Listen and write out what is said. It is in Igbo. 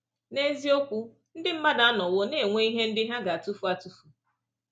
N’eziokwu, ndị mmadụ anọwo na-enwe ihe ndị ha ga-atụfu atụfu.